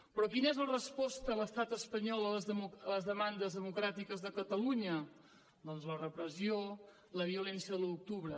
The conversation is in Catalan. però quina és la resposta de l’estat espanyol a les demandes democràtiques de catalunya doncs la repressió la violència de l’un d’octubre